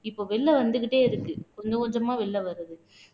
இப்ப வெளில வந்துகிட்டே இருக்கு கொஞ்சம் கொஞ்சமா வெளில வருது